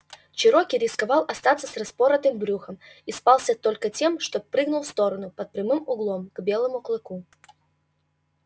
чероки рисковал остаться с распоротым брюхом и спасся только тем что прыгнул в сторону под прямым углом к белому клыку